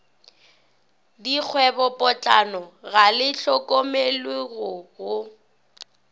dikgwebopotlana ga le hlokomologwe go